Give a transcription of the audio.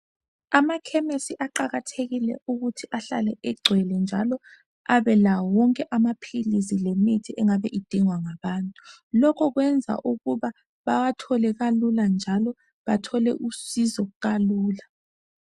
Amakhemesi aqakathekile ukuthi ahlale egcwele njalo ebelawo wonke amaphilisi lemithi engabe edingwa ngabantu lokhu kwenza ukuba bawathole kalula njalo bathole usizo kalula